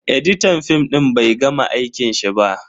Editan fim din bai gama aikin shi ba.